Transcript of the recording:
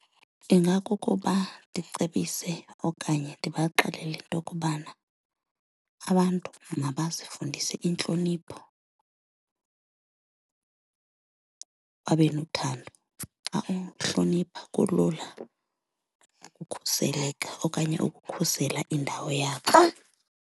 Ingakukuba ndicebise okanye ndibaxelele into kubana abantu mabazifundise intlonipho babe nothando. Xa uhlonipha kulula ukukhuseleka okanye ukukhusela indawo yakho.